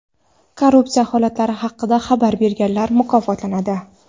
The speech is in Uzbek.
Korrupsiya holatlari haqida xabar berganlar mukofotlanadi.